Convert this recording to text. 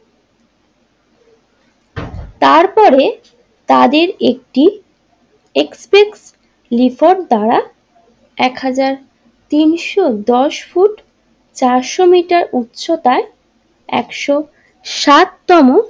তারপরে তাদের একটি একসেপ্ট রিপোর্ট দ্বারা একহাজার তিনশো দশ ফুট চারশো মিটার উচ্চতায় একশো সাত তম।